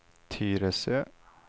Tyresö